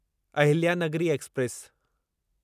Ahilya Nagari express